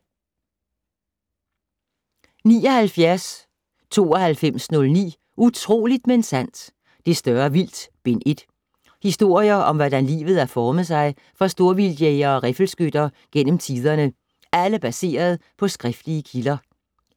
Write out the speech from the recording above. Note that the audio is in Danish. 79.9209 Utroligt - men sandt!: Det større vildt: Bind 1 Historier om hvordan livet har formet sig for storvildtjægere og riffelskytter gennem tiderne, alle baseret på skriftlige kilder.